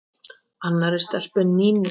Annarri stelpu en Nínu?